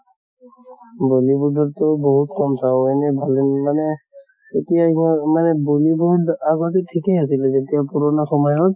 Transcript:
bollywood ৰ তে বহুত কম চাওঁ, এনে ভালে ন মানে এতিয়া ইমান মানে bollywood আগতে ঠিকে আছিলে যেতিয়া কৰʼণা সময়ত